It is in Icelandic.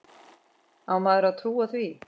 Á maður að trúa því?